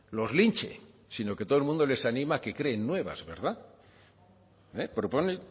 los linche sino que todo el mundo les anima a que creen nuevas verdad eh propone